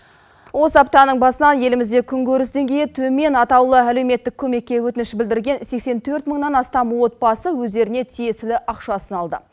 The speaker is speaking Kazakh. осы аптаның басынан елімізде күн көріс деңгейі төмен атаулы әлеуметтік көмекке өтініш білдірген сексен төрт мыңнан астам отбасы өздеріне тиесілі ақшасын алды